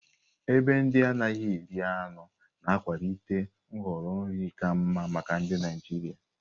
Ebe ndị anaghị eri anụ na-akwalite nhọrọ nri ka mma maka ndị Naijiria.